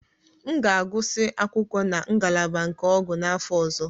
M ga-agụsị akwụkwọ na ngalaba nke ọgwụ n'afọ ọzọ.